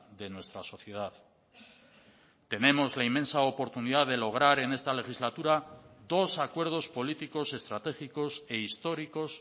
de nuestra sociedad tenemos la inmensa oportunidad de lograr en esta legislatura dos acuerdos políticos estratégicos e históricos